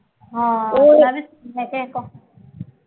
ਹਾਂ ਉਹ ਕਿਸੇ ਤੋਂ